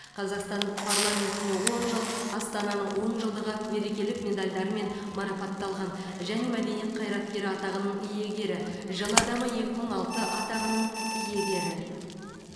қазақстан парламентіне он жыл астананың он жылдығы мерекелік медальдарымен марапатталған және мәдениет қайраткері атағының иегері жыл адамы екі мың алты атағының иегері